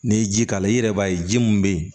N'i ye ji k'a la i yɛrɛ b'a ye ji min bɛ ye